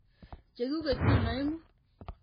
Che kuket chu aeng'u.